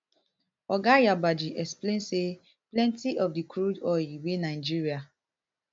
oga yabagi explain say plenty of di crude oil wey nigeria